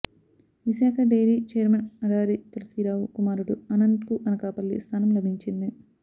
Visakha dairy chairman Adari Tulasirao కుమారుడు ఆనంద్కు అనకాపల్లి స్థానం లభించింది